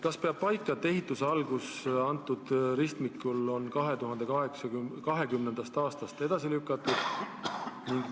Kas peab paika, et selle ringristmiku ehituse algus on 2020. aastast edasi lükatud?